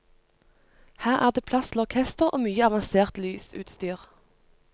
Her er det plass til orkester og mye avansert lysutstyr.